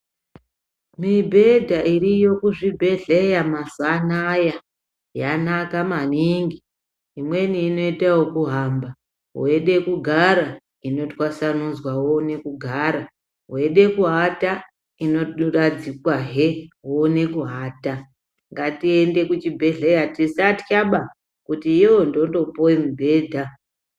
Mibhedha iriyo kuzvibhehleya mazuwa anaya yanaka maningi imweni inoita yekuhamba weide kugara inotwasanudzwa woone kugara weide kuata inoradzikwahe woone kuata, ngatiende kuchibhehleya, tisatyaba kuti yoo ndotopuwe mubhedha.